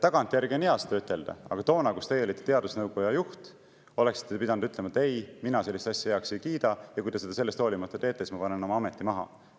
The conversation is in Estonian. Tagantjärgi on hea seda ütelda, aga toona, kui teie olite teadusnõukoja juht, oleksite te pidanud ütlema, et ei, mina sellist asja heaks ei kiida ja kui te seda sellest hoolimata teete, siis ma panen oma ameti maha.